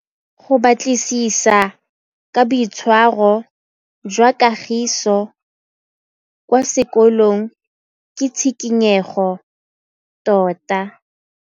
Go batlisisa ka boitshwaro jwa Kagiso kwa sekolong ke tshikinyêgô tota.